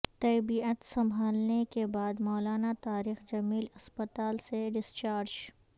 طیبعت سنبھلنے کے بعد مولانا طارق جمیل ہسپتال سے ڈسچارج